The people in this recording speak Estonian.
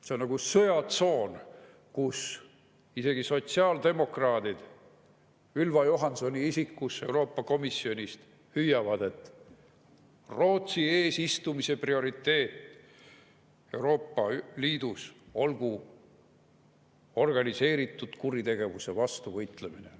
See on nagu sõjatsoon, kus isegi sotsiaaldemokraadid, Ylva Johanssoni isikus, Euroopa Komisjonist hüüavad, et Rootsi eesistumise prioriteet Euroopa Liidus olgu organiseeritud kuritegevuse vastu võitlemine.